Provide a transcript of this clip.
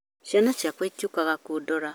Ciana ciakwa itiũkaga kũndora